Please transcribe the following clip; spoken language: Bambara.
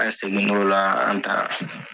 A se nimɔrɔ la an ta